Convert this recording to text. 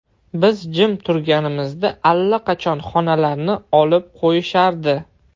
Biz jim turganimizda allaqachon xonalarni olib qo‘yishardi.